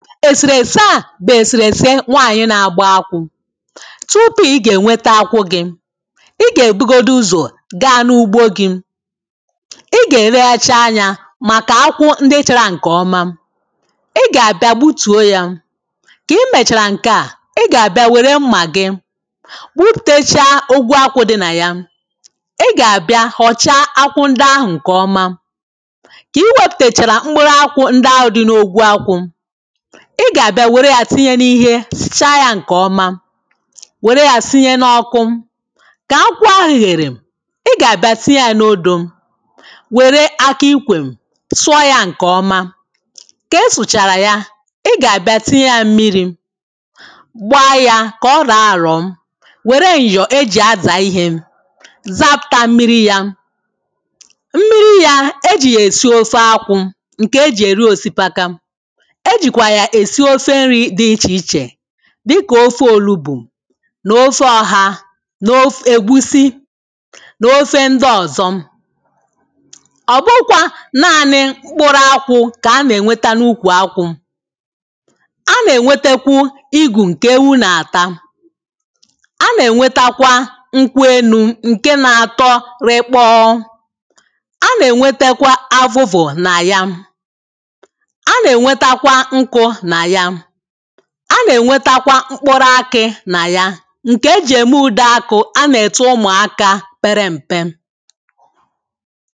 esērēsē a bụ esērēsē ṅwaṅyi na-agba àkwụ̄. Tụ̀pụ̀ ì ga eṅwētē akwụ̄ gì. Ì ga ebụgodụzọ ga n’ụ̀gbo gì. I ga ereghachi aṅyà màka àkwụ̄ ndi chara ṅ̀ke ọ̀ma. Ì ga-abia gbutuo ya Kị̀ mechara ṅke à ị ga-abia were m̀ma gị̀. Gbụpụtacha ogwụ àkwụ̄ dị na ya I ga-abia họcha akwụ̄ ndị àhụ̄ ṅ̀ke ọ̀ma. Kị wepụtachara mkpụrụ àkwụ̄ ṅdị ahụ dị na ogwu àkwụ̄ I ga-abia wērē ya tiṅyē niihe sụcha ya ṅ̀ke ọ̀ma. Wērē ya sinyē n’ọ̀kụ̀. Ka akwụ̄ àhụ̀ ghērē I ga-abia tiṅyē ya n’òdoo. Wērē akà ị̀kwe sụụ ya ṅ̀ke ọ̀ma. Kị sụchara ya, ị ga-abia tịṅye ya m̀mìrì. Gbaa ya kọ rọọ àrọ̀ọ̀. Were ṅyọọ ejị àzà ìhé zapụta m̀mịrị̇ ya. M̀mịrị ya, eji esị ofe àkwụ̀ ṅke ejị erị osịpàkà ejikwa ya esi ofe ṅri dị ị̀chē ị̀chē di ka ofe òlubù n’ofe ọ̀ha n’of egbusì n’ofe ndị ọ̀zọ̀ Ọbụghụkwa naanị mkpụrụ àkwụ̄ k’ ana ṅwete n’ụkwu A na-ṅwetekwụ ìgù ṅ̀ke èwū na-àtà. A na-ṅwetakwa ṅkwụ enu ṅke na-atọ rị̀kpọ́ọ́ A na-ṅwetakwa àvụ̀vụ̀ na ya. A na-ṅwetakwa ṅ̀kụ̀ na ya A na-ṅwetakwa m̀kpụ̄rụ̄ ákị̀ na ya. ṅ̀ke eji eme ụ̀de àkụ̀ á na-ete ụ̀mụaka pērē m̀pé.